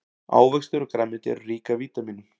ávextir og grænmeti eru rík af vítamínum